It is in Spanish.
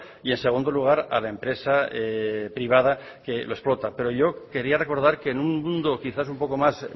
y en segundo lugar a la empresa privada que lo explota pero yo quería recordar que en un mundo quizás un poco más